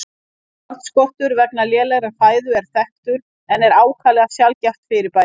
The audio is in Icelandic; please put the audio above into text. Járnskortur vegna lélegrar fæðu er þekktur en er ákaflega sjaldgæft fyrirbæri.